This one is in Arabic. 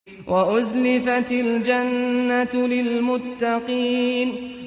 وَأُزْلِفَتِ الْجَنَّةُ لِلْمُتَّقِينَ